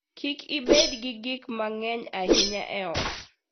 Kik ibed gi gik mang'eny ahinya e ot.